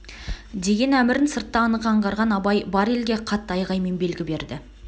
деген әмірн сыртта анық аңғарған абай бар елге қатты айғаймен белгі берді